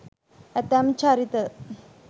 ඇතැම් චරිත